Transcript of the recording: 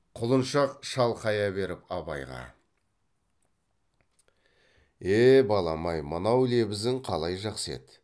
құлыншақ шалқая беріп абайға е балам ай мынау лебізің қалай жақсы еді